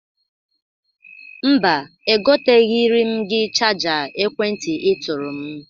Mba, egoteghiri m gị chaja ekwentị ị tụrụ m.